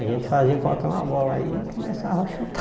A gente fazia qualquer uma bola aí e começava a chutar.